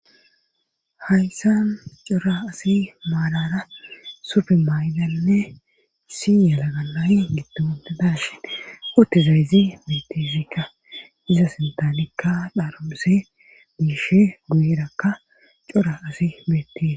hayssan cora asi maalara sufemaydalnne si yalagalayy giddonde dashi ootezayzi metezikka iza sintanikka dharolhusse biishe guyerakka cora asi beettees